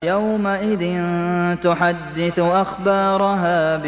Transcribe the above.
يَوْمَئِذٍ تُحَدِّثُ أَخْبَارَهَا